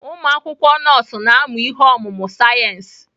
Ụmụ akwụkwọ nọọsụ na-amụ ihe ọmụmụ sayensị.